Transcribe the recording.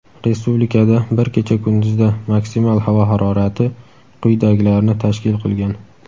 Respublikada bir kecha-kunduzda maksimal havo harorati quyidagilarni tashkil qilgan:.